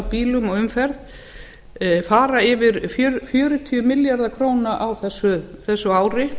bílum og umferð fara yfir fjörutíu milljarða króna á þessu ári